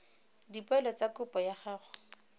dipoelo tsa kopo ya gago